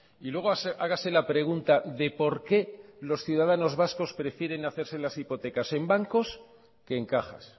y luego hágase la pregunta de por qué los ciudadanos vascos prefieren hacerse las hipotecas en bancos que en cajas